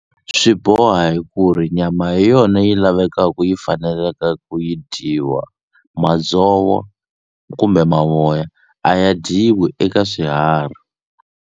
Swi boha hi ku ri nyama hi yona yi lavekaku yi faneleka ku yi dyiwa madzovo kumbe mavoya a ya dyiwi eka swiharhi.